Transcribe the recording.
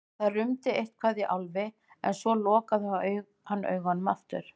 Það rumdi eitthvað í Álfi en svo lokaði hann augunum aftur.